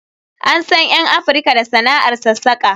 An san 'yan Afirka da sana'ar sassaƙa